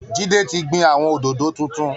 Jídé ti gbin àwọn òdòdó tuntun